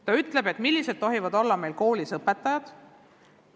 Ta ütleb, millised tohivad olla meil koolis õpetajad.